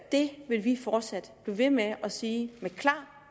det vil vi fortsat blive ved med at sige med klar